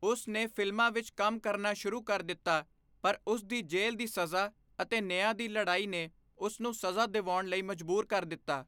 ਉਸ ਨੇ ਫ਼ਿਲਮਾਂ ਵਿੱਚ ਕੰਮ ਕਰਨਾ ਸ਼ੁਰੂ ਕਰ ਦਿੱਤਾ, ਪਰ ਉਸ ਦੀ ਜੇਲ੍ਹ ਦੀ ਸਜ਼ਾ ਅਤੇ ਨਿਆਂ ਲਈ ਲੜਾਈ ਨੇ ਉਸ ਨੂੰ ਸਜ਼ਾ ਦਿਵਾਉਣ ਲਈ ਮਜਬੂਰ ਕਰ ਦਿੱਤਾ।